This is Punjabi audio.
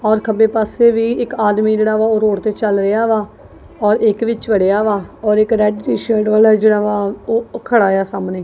ਔਰ ਖੱਬੇ ਪਾਸੇ ਵੀ ਇੱਕ ਆਦਮੀ ਜਿਹੜਾ ਵਾ ਉਹ ਰੋਡ ਤੇ ਚੱਲ ਰਿਹਾ ਵਾ ਔਰ ਇੱਕ ਵਿੱਚ ਵੜਿਆ ਵਾ ਔਰ ਇੱਕ ਰੈਡ ਟੀ-ਸ਼ਰਟ ਵਾਲਾ ਜਿਹੜਾ ਵਾ ਉਹ ਖੜਾ ਆ ਸਾਹਮਣੇ।